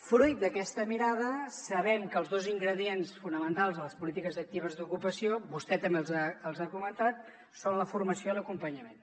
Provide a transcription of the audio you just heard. fruit d’aquesta mirada sabem que els dos ingredients fonamentals de les polítiques actives d’ocupació vostè també els ha comentat són la formació i l’acompanyament